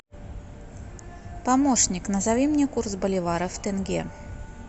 помощник назови мне курс боливара в тенге